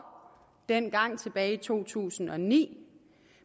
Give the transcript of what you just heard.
dengang tilbage i to tusind og ni